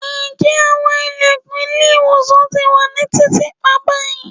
njẹ awọn ilẹkun ile-iwosan ti wà ni titiipa bayi